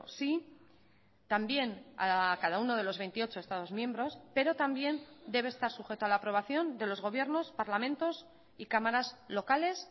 sí también a cada uno de los veintiocho estados miembros pero también debe estar sujeto a la aprobación de los gobiernos parlamentos y cámaras locales